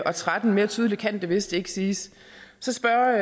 og tretten mere tydeligt kan det vist ikke siges så spørger